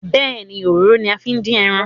Bẹ́ẹ̀ni, òróró ni a fi ń dín ẹran